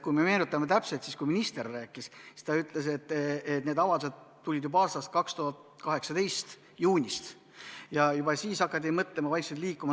Kui me meenutame täpselt, siis minister ütles, et need avaldused tulid juba 2018. aasta juunis, juba siis hakati mõtlema, vaikselt liikuma.